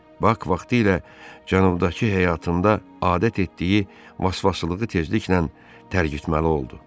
Bak vaxtilə cənubdakı həyatında adət etdiyi vasvasılığı tezliklə tərgizməli oldu.